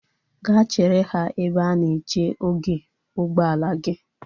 Ga chere ha ebe a na-eche oge ụgbọala gi!